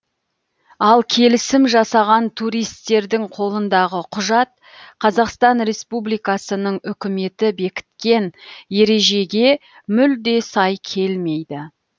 ал келісім жасаған туристердің қолындағы құжат қазақстан республикасының үкіметі бекіткен ережеге мүлде сай келмейді